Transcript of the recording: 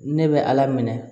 Ne bɛ ala minɛ